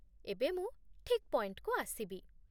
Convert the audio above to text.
ଏବେ ମୁଁ ଠିକ୍ ପଏଣ୍ଟକୁ ଆସିବି